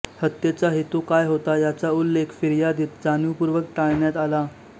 हत्येचा हेतू काय होता याचा उल्लेख फिर्यादीत जाणीवपूर्वक टाळण्यात आला